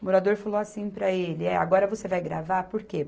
O morador falou assim para ele, é agora você vai gravar por quê?